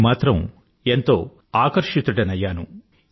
నేను మాత్రం ఎంతో ఆకర్షితుడనయ్యాను